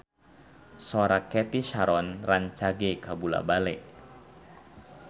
Sora Cathy Sharon rancage kabula-bale